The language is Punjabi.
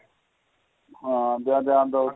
ਹਾਂ ਜਾਂ ਜਾ ਤਾਂ ਉੱਥੇ